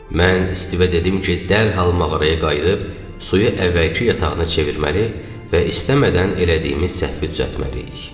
Mən Stivə dedim ki, dərhal mağaraya qayıdıb suyu əvvəlki yatağına çevirməli və istəmədən elədiyimiz səhvi düzəltməliyik.